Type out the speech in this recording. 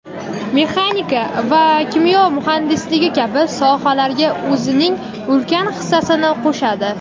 mexanika va kimyo muhandisligi kabi sohalarga o‘zining ulkan hissasini qo‘shadi.